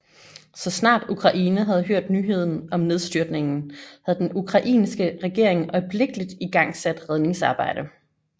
Så snart Ukraine havde hørt nyheden om nedstyrtningen havde den ukrainske regering øjeblikkeligt igangsat redningsarbejde